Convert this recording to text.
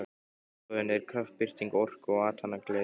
Glundroðinn er kraftbirting orku og athafnagleði.